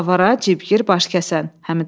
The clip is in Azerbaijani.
Avara, cibgir, başkəsən, Həmidə.